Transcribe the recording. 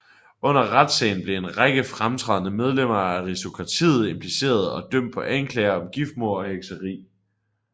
Under retssagen blev en række fremtrædende medlemmer af aristokratiet impliceret og dømt på anklager om giftmord og hekseri